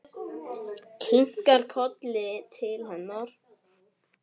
Kinkar kolli til hennar.